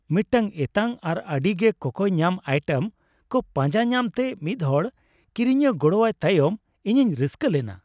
ᱢᱤᱫᱴᱟᱝ ᱮᱛᱟᱝ ᱟᱨ ᱟᱹᱰᱤᱜᱮ ᱠᱚᱠᱚᱭ ᱧᱟᱢ ᱟᱭᱴᱮᱢ ᱠᱚ ᱯᱟᱸᱡᱟ ᱧᱟᱢᱛᱮ ᱢᱤᱫᱦᱚᱲ ᱠᱤᱨᱤᱧᱤᱭᱟᱹ ᱜᱚᱲᱚᱣᱟᱭ ᱛᱟᱭᱚᱢ, ᱤᱧᱤᱧ ᱨᱟᱹᱥᱠᱟᱹ ᱞᱮᱱᱟ ᱾